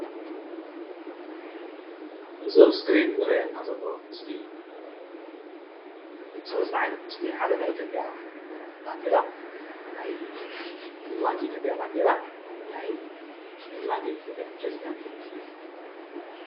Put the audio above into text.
እዞም አብ ስክሪን ዝርእየና ዘሎ ምስሊ ስለስተ ዓይነት ምስሊ ሓደ ናይ ኢትዩጵያ ባንዴራ ናይ ንግዲ ባንኪ ኢትዩጵያ ባንዴራ ናይ ንግዲ ባንኪ ኢትዩጵያ ፕረዚዳንትን እዬም።